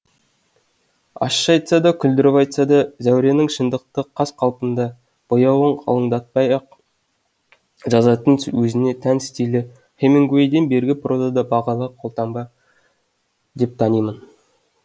ащы айтса да күлдіріп айтса да зәуренің шындықты қаз қалпында бояуын қалыңдатпай ақ жазатын өзіне тән стилі хемингуэйден бергі прозада бағалы қолтаңба деп танимын